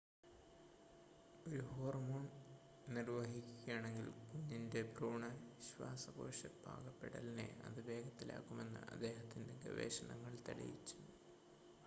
ഒരു ഹോർമോൺ നിർവഹിക്കുകയാണെങ്കിൽ കുഞ്ഞിൻ്റെ ഭ്രൂണ ശ്വാസകോശ പാകപ്പെടലിനെ അത് വേഗത്തിലാക്കുമെന്ന് അദ്ദേഹത്തിൻ്റെ ഗവേഷണങ്ങൾ തെളിയിച്ചു